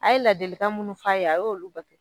An ye ladilikan minnu f'a ye a y'olu bato.